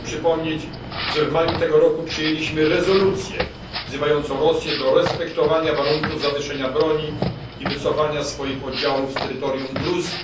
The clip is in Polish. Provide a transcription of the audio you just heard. Chciałem przypomnieć, że w maju tego roku przyjęliśmy rezolucję wzywającą Rosję do respektowania warunków zawieszenia broni i wycofania swoich oddziałów z terytorium Gruzji.